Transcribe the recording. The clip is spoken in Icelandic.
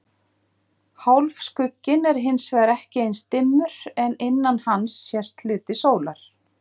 Hálfskugginn er hins vegar ekki eins dimmur en innan hans sést hluti sólar.